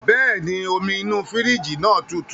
Bẹ́ẹ̀ni, omi inú fírìjì náà tutù